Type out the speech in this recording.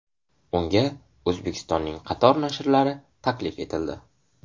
Unga O‘zbekistonning qator nashrlari taklif etildi.